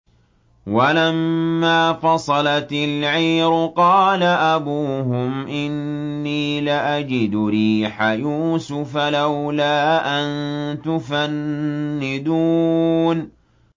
وَلَمَّا فَصَلَتِ الْعِيرُ قَالَ أَبُوهُمْ إِنِّي لَأَجِدُ رِيحَ يُوسُفَ ۖ لَوْلَا أَن تُفَنِّدُونِ